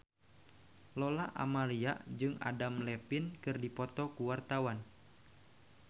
Lola Amaria jeung Adam Levine keur dipoto ku wartawan